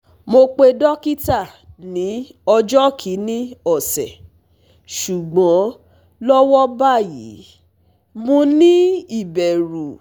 Mo pe dokita ni ojo kini ose, sugbon lowo bayi, mo ni iberu